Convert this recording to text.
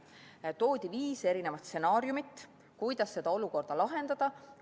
Toodi viis erinevat stsenaariumit, kuidas seda olukorda lahendada.